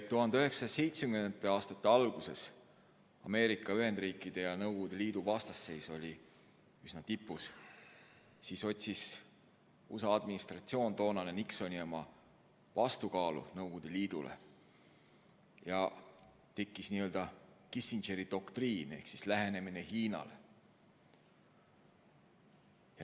Kui 1970. aastate alguses Ameerika Ühendriikide ja Nõukogude Liidu vastasseis oli üsna tipus, siis otsis USA toonane administratsioon, Nixoni oma, vastukaalu Nõukogude Liidule ja tekkis Kissingeri doktriin ehk lähenemine Hiinale.